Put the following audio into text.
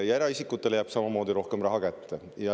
Eraisikutele jääb samamoodi rohkem raha kätte.